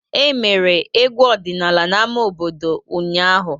E mere egwu ọdịnala n'ámá obodo ụnyahụ.